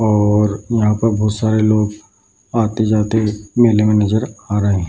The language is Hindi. और यहाँ पर बहुत सरे लोग आते-जाते मेले में नजर आ रहे हैं।